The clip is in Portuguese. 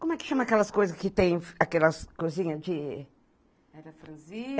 Como é que chama aquelas coisas que tem, aquelas coisinhas de... Era